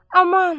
aman!